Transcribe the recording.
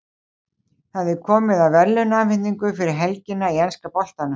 Það er komið að verðlaunaafhendingu fyrir helgina í enska boltanum.